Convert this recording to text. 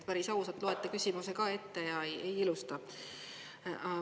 Päris ausalt loete küsimuse ette ja ei ilusta.